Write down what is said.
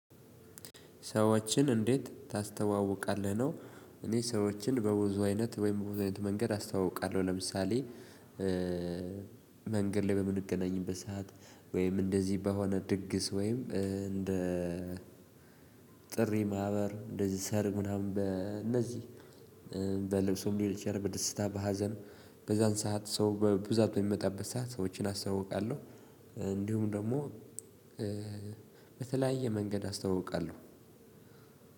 ሰወቺን እንዴት ታስተዋውቃለህ ነው? እኔ ሰወቺን በብዙ አይነት መንገድ አስጠዋዉቃለሁ ለምሳሌ። መንገድ ላይ በምንገናኝበት ሰዓት ወይም እንደዚህ በሆነ ድግስ ወይም እንደ ጥሪ ማህበር እንደዚህ ሰር ምናምን በእነዚህ በልብሱም ሊሆን ይቺላል በደስታ በሀዘን በዛን ሰዓት ሰው በብዛት በሚመጣበት ሰዓት ሰዎችን አስተውቃለሁ። እንዲሁም ደግሞ በተለያየ መንገድ አስተውቃለሁ።